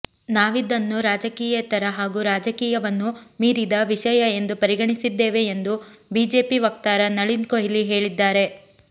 ನಾವಿದನ್ನು ರಾಜಕೀಯೇತರ ಹಾಗೂ ರಾಜಕೀಯವನ್ನು ಮೀರಿದ ವಿಷಯ ಎಂದು ಪರಿಗಣಿಸಿದ್ದೇವೆ ಎಂದು ಬಿಜೆಪಿ ವಕ್ತಾರ ನಳಿನ್ ಕೊಹ್ಲಿ ಹೇಳಿದ್ದಾರೆ